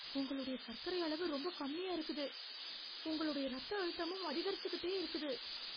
உங்களுடைய சக்கரை அளவு ரொம்ப கம்மியா இருக்குது. உங்களுடைய இரத்த அழுத்தமும் அதிகரிச்சுக்கிட்டே இருக்குது.